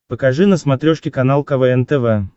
покажи на смотрешке канал квн тв